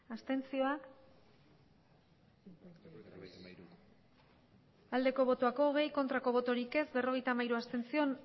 abstentzioa hogei bai berrogeita hamairu abstentzio